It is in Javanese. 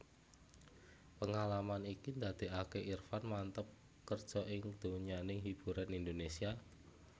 Pengalaman iki ndadékaké Irfan manteb kerja ing donyaning hiburan Indonesia